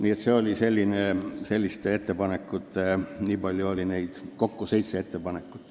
Kokku oli neid ettepanekuid seitse.